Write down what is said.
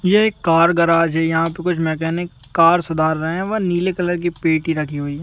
यह एक car garage है यहां पे कुछ मैकेनिक कार सुधार रहे है व नीले कलर की पेटी रखी हुई है।